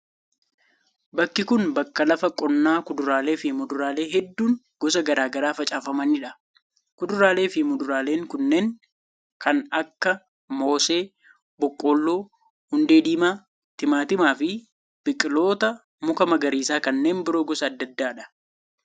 Bakki kun ,bakka lafa qonnaa kuduraalee fi muduraalee hedduun gosa garaa garaa facaafamanii dha. Kuduraalee fi muduraaleen kunneen kan akka:moosee, boqqolloo, hundee diimaa ,timaatima fi biqiloota mukaa magariisa kanneen biroo gosa adda addaa dha.